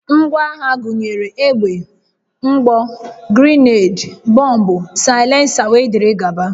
Ngwaagha gụnyere egbe, mgbọ, grenade, bọmbụ, saịlensa, wdg